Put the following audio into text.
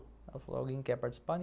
Ela falou, alguém quer participar?